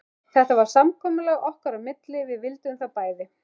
Þetta var samkomulag okkar á milli, við vildum það bæði.